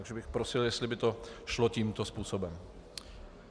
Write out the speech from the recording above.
Takže bych prosil, jestli by to šlo tímto způsobem.